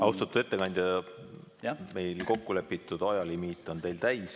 Austatud ettekandja, meil kokkulepitud ajalimiit on täis.